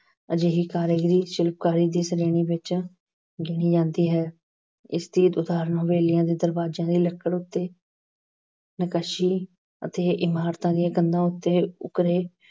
ਅਜਿਹੀ ਕਾਰੀਗਰੀ ਸ਼ਿਲਪਕਾਰੀ ਦੀ ਸ਼੍ਰੇਣੀ ਵਿੱਚ ਜੋੜੀ ਜਾਂਦੀ ਹੈ। ਇਸ ਦੀ ਉਦਾਹਰਣ ਹਵੇਲੀਆਂ ਦੇ ਦਰਵਾਜਿਆਂ ਦੀ ਲੱਕੜ ਉੱਤੇ ਨਿਕਾਸ਼ੀ ਅਤੇ ਇਮਾਰਤਾਂ ਦੀਆਂ ਕੰਧਾਂ ਉੱਤੇ ਉਕਰੇ